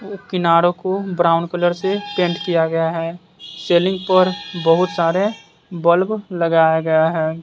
किनारों को brown colour से पेंट किया गया है सीलिंग पर बहुत सारे बल्ब लगाया गया है।